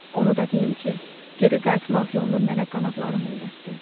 Onu da deyim ki, geri qayıtmaq yolunu mənə qanadlarım öyrətdi.